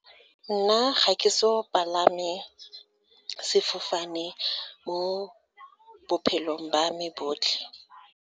Nna ga ke so palame sefofane mo bophelong ba me botlhe.